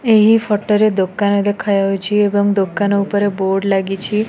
ଏହି ଫୋଟୋ ରେ ଦୋକାନ ଦେଖାଯାଉଛି ଏବଂ ଦୋକାନ ଉପରେ ବୋର୍ଡ଼ ଲାଗିଛି।